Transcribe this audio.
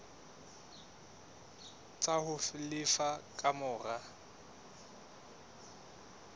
tsa ho lefa ka mora